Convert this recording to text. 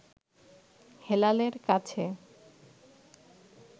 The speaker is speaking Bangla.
হেলালের কাছে